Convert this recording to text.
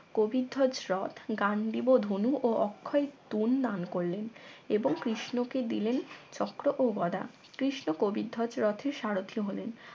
কবিধ্বজ রথ গান্ডীব ধনু ও অক্ষয় তুন দান করলেন এবং কৃষ্ণকে দিলেন চক্র ও গদা কৃষ্ণ কবিধ্বজ রথের সারথী হলেন